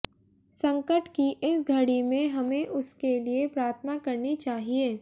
संकट की इस घड़ी में हमें उसके लिए प्रार्थना करनी चाहिए